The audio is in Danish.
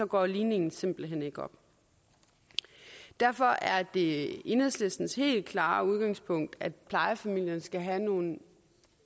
går ligningen simpelt hen ikke op derfor er det enhedslistens helt klare udgangspunkt at plejefamilierne skal have nogle